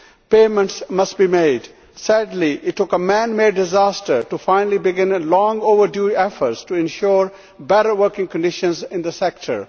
Payments must be made. Sadly, it took a man made disaster to finally begin long overdue efforts to ensure better working conditions in the sector.